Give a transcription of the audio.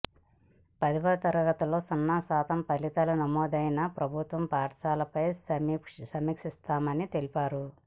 పదవ తరగతిలో సున్నా శాతం ఫలితాలు నమోదైన ప్రభుత్వ పాఠశాలలపై సమీ క్షిస్తామని తెలిపారు